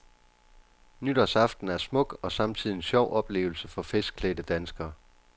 Nytårsaften er smuk og samtidig en sjov oplevelse for festklædte danskere.